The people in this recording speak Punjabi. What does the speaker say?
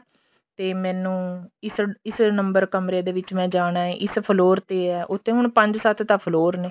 ਤੇ ਮੈਨੂੰ ਇਸ ਇਸ number ਕਮਰੇ ਦੇ ਵਿੱਚ ਮੈਂ ਜਾਣਾ ਇਸ floor ਤੇ ਹੈ ਉੱਥੇ ਹੁਣ ਪੰਜ ਸੱਤ ਤਾਂ floor ਨੇ